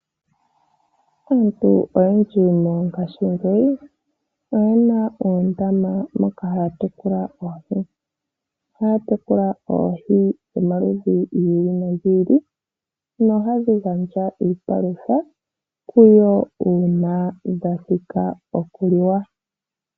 Aantu oyendji ngaashingeyi, oyena oondama moka haya tekula oohi. Ohaya tekula oohi dho maludhi gi ili no gi ili, no hadhi gandja iipalutha kuyo uuna dharma thika okuliwa.